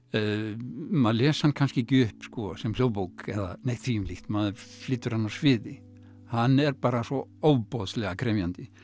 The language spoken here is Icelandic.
maður les hann kannski ekki upp sem hljóðbók eða neitt maður flytur hann á sviði hann er bara svo ofboðslega krefjandi